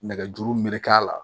Nɛgɛjuru merek'a la